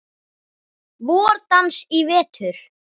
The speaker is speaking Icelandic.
VorDans í vetur.